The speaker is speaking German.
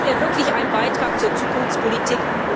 Das wäre wirklich ein Beitrag zur Zukunftspolitik.